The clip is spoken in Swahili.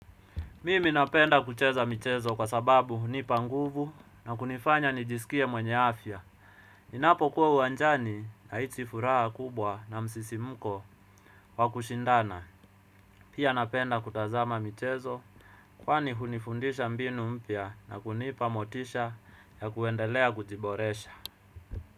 Mimi napenda kucheza mchezo kwa sababu hunipa nguvu na kunifanya nijisikie mwenye afya. Ninapo kuwa uwanjani nahisi furaha kubwa na msisimko wa kushindana. Pia napenda kutazama mchezo kwani hunifundisha mbinu mpya na kunipa motisha ya kuendelea kujiboresha.